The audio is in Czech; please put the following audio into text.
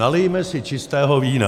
Nalijme si čistého vína.